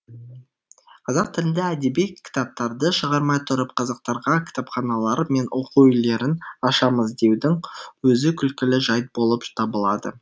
қазақ тілінде әдеби кітаптарды шығармай тұрып қазақтарға кітапханалар мен оқу үйлерін ашамыз деудің өзі күлкілі жайт болып табылады